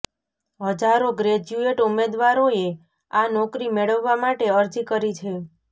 હજારો ગ્રેજ્યુએટ ઉમેદવારોએ આ નોકરી મેળવવા માટે અરજી કરી છે